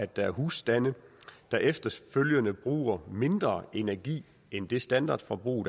der husstande der efterfølgende bruger mindre energi end det standardforbrug